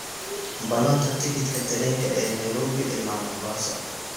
ballanta tikidhka tareenka ee Nairobi ilaa mombasa